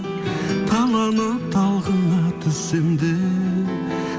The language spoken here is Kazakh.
таланып талқыңа түссем де